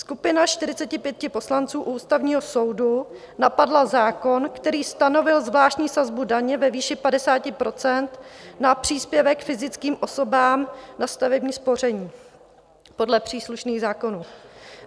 Skupina 45 poslanců u Ústavního soudu napadla zákon, který stanovil zvláštní sazbu daně ve výši 50 % na příspěvek fyzickým osobám na stavební spoření podle příslušných zákonů.